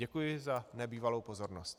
Děkuji za nebývalou pozornost.